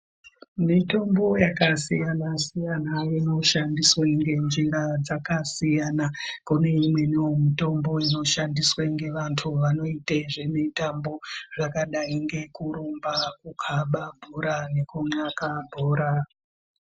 Mitombo yakasiyana siyana inoshandiswa ngenjira dzakasiyana. Kune imweniwo mitombo inoshandiswe ngevantu vanoite zvemitambo zvakadai ngekurumba, kukaba bhora nekumaka bhora.